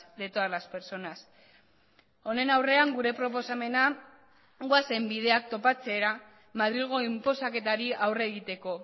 de todas las personas honen aurrean gure proposamena goazen bideak topatzera madrilgo inposaketari aurre egiteko